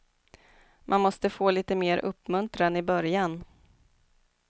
Man måste få lite mer uppmuntran i början.